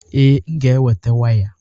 Ee, m ga-eweta waya.